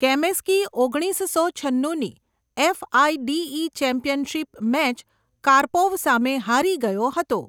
Kamsky ઓગણીસસો છન્નુની FIDE championship match Karpov સામે હારી ગયો હતો.